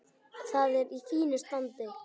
Það er í fínu standi.